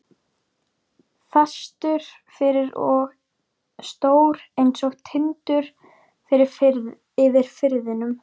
Fastur fyrir og stór einsog Tindur yfir firðinum.